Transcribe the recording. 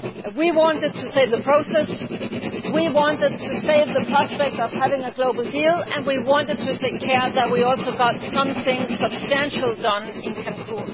We wanted to save the process. We wanted to save the prospect of having a global deal and we wanted to ensure that we also got something substantial done in Cancún.